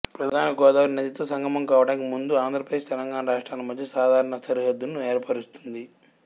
ప్రధాన గోదావరి నదితో సంగమం కావడానికి ముందు ఆంధ్రప్రదేశ్ తెలంగాణ రాష్ట్రాల మధ్య సాధారణ సరిహద్దును ఏర్పరుస్తుంది